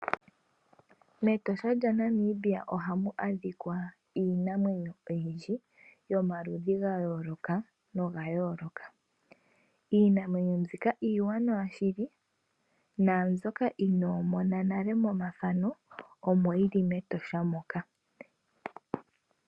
MEtosha ohamu adhika iinamwenyo oyindji yomaludhi ga yooloka ogendji. Iinamwenyo mbika iiwanawa naambyoka inoomona nale momathano omo yili mEtosha.